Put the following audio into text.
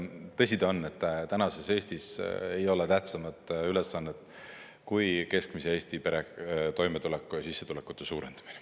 Tõsi ta on, et tänases Eestis ei ole tähtsamat ülesannet kui keskmise Eesti pere toimetuleku ja sissetulekute suurendamine.